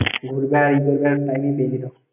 ঘুরগা ই ঘুরগা